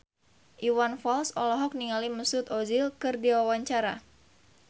Iwan Fals olohok ningali Mesut Ozil keur diwawancara